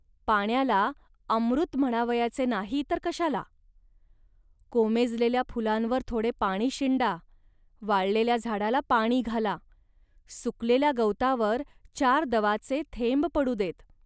पाण्याला अमृत नाही म्हणावयाचे तर कशाला. कोमेजलेल्या फुलांवर थोडे पाणी शिंडा, वाळलेल्या झाडाला पाणी घाला, सुकलेल्या गवतावर चार दवाचे थेंब पडू देत